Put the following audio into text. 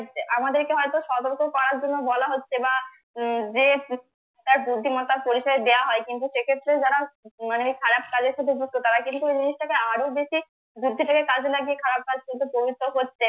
আমাদেরকে হয়তো সতর্ক করার জন্য বলা হচ্ছে বা যে তার বুদ্ধিমত্তার পরিচয় দেওয়া হয় কিন্তু সেক্ষেত্রে যারা মানে খারাপ কাজের সাথে যুক্ত তারা কিন্তু ওই জিনিসটাকে আরো বেশি বুদ্ধি কাজে লাগিয়ে খারাপ কাজ কিন্তু পবিত্র করছে